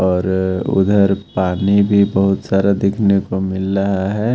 और उधर पानी भी बहुत सारा देखने को मिल लहा है।